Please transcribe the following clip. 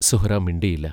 സുഹ്റാ മിണ്ടിയില്ല.